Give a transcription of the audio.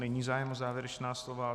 Není zájem o závěrečná slova.